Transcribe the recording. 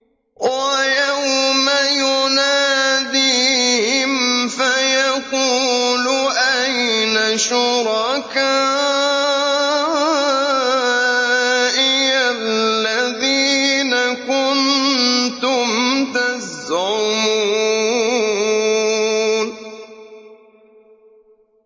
وَيَوْمَ يُنَادِيهِمْ فَيَقُولُ أَيْنَ شُرَكَائِيَ الَّذِينَ كُنتُمْ تَزْعُمُونَ